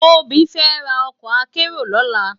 Tobi fè rá òkò àkèéró lòlá